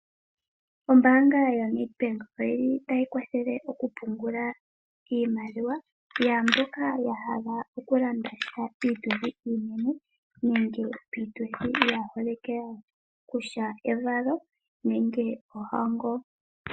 Ombaanga yoNedbank oyili tayi kwathele okupungula iimaliwa yaamboka yahala okulandasha piituthi iinene nenge piituthi yaaholike yawo, pevalo nenge pohango.